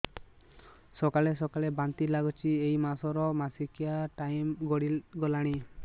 ସକାଳେ ସକାଳେ ବାନ୍ତି ଲାଗୁଚି ଏଇ ମାସ ର ମାସିକିଆ ଟାଇମ ଗଡ଼ି ଗଲାଣି